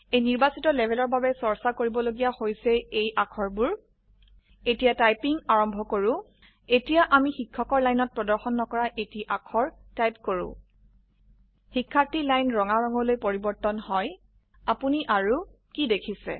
এই নিৰ্বাচিত লেভেল ৰ বাবে চৰ্চা কৰিবলগিয়া হৈছে এই অাক্ষৰবোৰ এতিয়া টাইপিং আৰম্ভ কৰো এতিয়া আমি শিক্ষক ৰ লাইনত প্ৰদৰ্শন নকৰা এটি অাক্ষৰ টাইপ কৰো শিক্ষাৰ্থী লাইন ৰঙা ৰঙলৈ পৰিবৰ্তন হয় আপনি আৰু কি দেখিছে